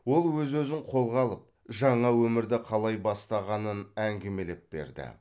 ол өз өзін қолға алып жаңа өмірді қалай бастағанын әңгімелеп берді